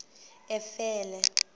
efele